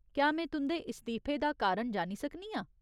क्या में तुं'दे इस्तीफे दा कारण जानी सकनी आं ?